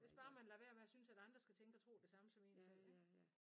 Hvis bare man lader være med at synes at andre skal tænke og tro det samme som én selv ikke